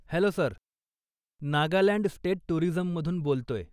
Hello sir, Nagaland state टूरीजममधून बोलतोय.